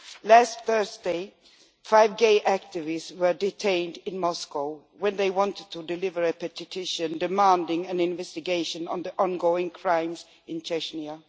Last Thursday, five gay activists were detained in Moscow when they wanted to deliver a petition demanding an investigation into the ongoing crimes in Chechnya.